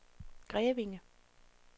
Grevinge